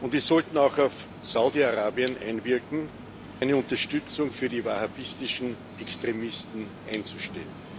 Wir sollten auch auf Saudi Arabien einwirken, seine Unterstützung für die wahhabitischen Extremisten einzustellen.